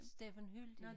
Steffen Hyldig